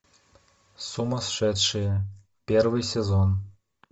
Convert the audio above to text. сумасшедшие первый сезон